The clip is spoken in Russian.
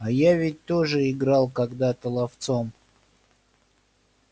а я ведь тоже играл когда-то ловцом